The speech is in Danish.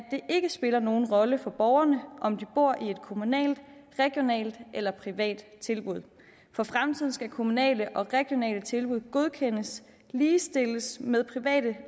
ikke spiller nogen rolle for borgerne om de bor i et kommunalt regionalt eller privat tilbud for fremtiden skal kommunale og regionale tilbud godkendes ligestillet med private